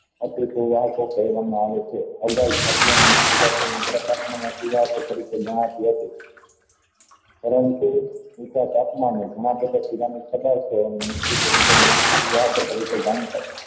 આવે છે તરીકે ગણાતી હતી પરંતુ નીચા તાપમાને ઘણા સિરેમિક પધાર્થ તરીકે જાણીતા છે